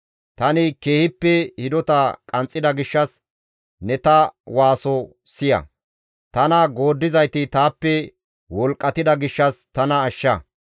Tani keehippe hidota qanxxida gishshas ne ta waaso siya! Tana gooddizayti taappe wolqqatida gishshas tana ashsha.